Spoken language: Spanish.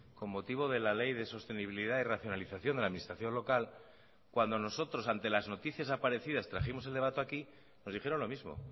con motivo de la ley de sostenibilidad y racionalización de la administración local cuando nosotros ante las noticias aparecidas trajimos el debate aquí nos dijeron lo mismo